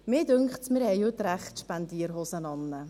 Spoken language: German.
Mir scheint, dass wir heute die Spendierhosen tragen.